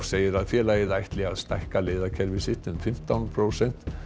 segir félagið ætla að stækka leiðakerfi sitt um fimmtán prósent